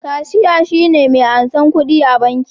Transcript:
Kashiya shine me ansar kudi a banki